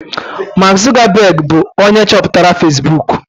Mark Zuckerberg bụụrụ onye chọpụtara Fesbuk.